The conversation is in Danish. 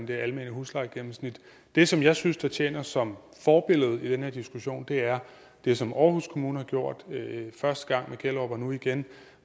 det almene huslejegennemsnit det som jeg synes tjener som forbillede i den her diskussion er det som aarhus kommune har gjort første gang med gellerup og nu igen